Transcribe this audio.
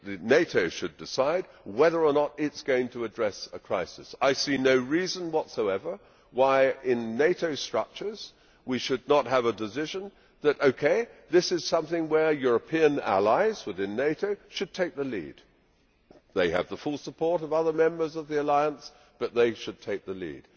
NATO should decide whether or not it is going to address a crisis. I see no reason whatsoever why in NATO structures we should not have a decision that OK, this is something where our European allies within NATO should take the lead' they have the full support of other members of the alliance, but they should take the lead.